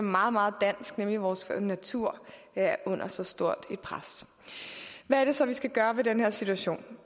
meget meget dansk nemlig vores natur er under så stort et pres hvad er det så vi skal gøre ved den her situation